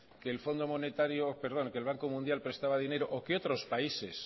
que el banco mundial prestaba dinero o que otros países